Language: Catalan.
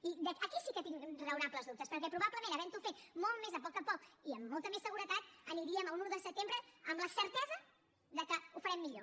i aquí sí que tinc raonables dubtes perquè probablement havent ho fet molt més a poc a poc i amb molta més seguretat aniríem a un un de setembre amb la certesa de que ho farem millor